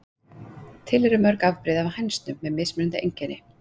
Til eru mörg mismunandi afbrigði af hænsnum með mismunandi einkenni.